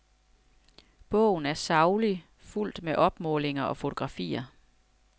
Bogen er saglig, fuldt med opmålinger og fotografier.